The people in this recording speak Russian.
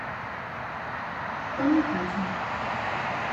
панихати